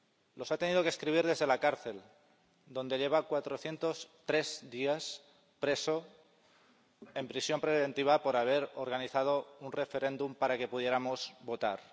Los ha tenido que escribir desde la cárcel, donde lleva 403 días preso, en prisión preventiva, por haber organizado un referéndum para que pudiéramos votar.